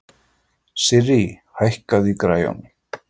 Sirrý, hækkaðu í græjunum.